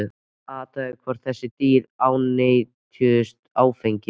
Athugað var hvort þessi dýr ánetjuðust áfengi.